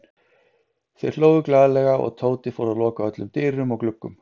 Þeir hlógu glaðlega og Tóti fór að loka öllum dyrum og gluggum.